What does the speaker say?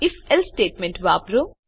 સંકેત ifએલ્સે સ્ટેટમેંટ વાપરો